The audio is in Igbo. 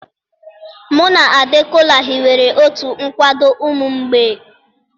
Mụ na Ade, Kola hiwere otu nkwado ụmụ mgbei.